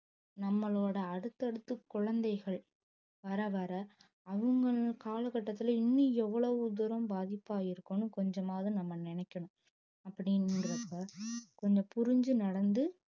நம்மளோட அடுத்தடுத்த குழந்தைகள் வர வர அவங்க கால கட்டத்துல இன்னும் எவ்வளவு தூரம் பாதிப்பா இருக்கும்னு கொஞ்சமாவது நம்ம நினைக்கணும் அப்படின்றப்ப கொஞ்சம் புரிஞ்சு நடந்து